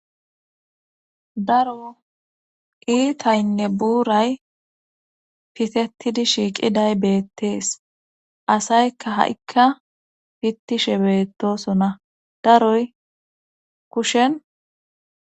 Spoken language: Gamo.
daro iitaynne buuray pitetidi shiiqiday beettees asaykka ha7ikka pittishe beettosona daroy kushen